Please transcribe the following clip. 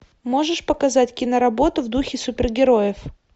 можешь показать киноработу в духе супергероев